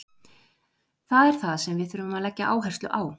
Það er það sem við þurfum að leggja áherslu á.